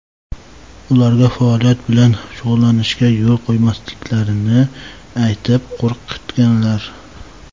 ularga faoliyat bilan shug‘ullanishga yo‘l qo‘ymasliklarini aytib, qo‘rqitganlar.